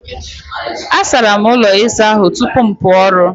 Asara m ụlọ ịsa ahụ tupu m pụọ ọrụ.